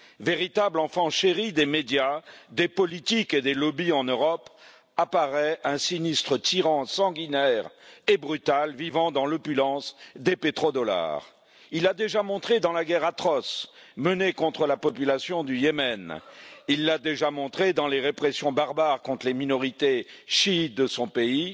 véritable enfant chéri des médias, des politiques et des lobbies en Europe, apparaît comme celui d'un sinistre tyran sanguinaire et brutal, vivant dans l'opulence des pétrodollars. Il a déjà montré dans la guerre atroce menée contre la population du Yémen, dans les répressions barbares contre les minorités chiites de son pays